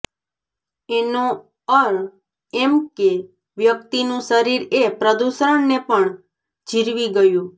એનો ર્અ એમ કે એ વ્યક્તિનું શરીર એ પ્રદૂષણને પણ જીરવી ગયું